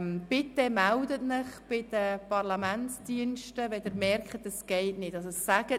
Bitte melden Sie sich bei den Parlamentsdiensten, wenn Sie feststellen, dass die Verbindung nicht funktioniert.